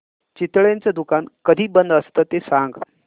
चितळेंचं दुकान कधी बंद असतं ते सांग